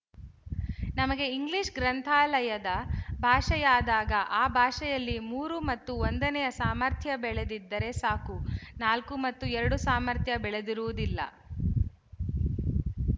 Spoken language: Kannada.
ನಮಗೆ ಇಂಗ್ಲಿಶ ಗ್ರಂಥಾಲಯದ ಭಾಷೆಯಾದಾಗ ಆ ಭಾಷೆಯಲ್ಲಿ ಮೂರು ಮತ್ತು ಒಂದನೆಯ ಸಾಮರ್ಥ್ಯ ಬೆಳೆದಿದ್ದರೆ ಸಾಕು ನಾಲ್ಕು ಮತ್ತು ಎರಡು ಸಾಮರ್ಥ್ಯ ಬೆಳೆದಿರುವುದಿಲ್ಲ